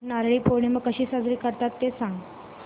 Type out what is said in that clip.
नारळी पौर्णिमा कशी साजरी करतात ते सांग